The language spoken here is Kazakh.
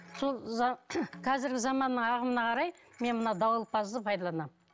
сол қазіргі заманның ағымына қарай мен мына дауылпазды пайдаланамын